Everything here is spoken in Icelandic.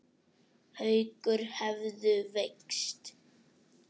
Haukur hefðu veikst.